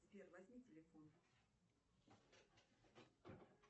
сбер возьми телефон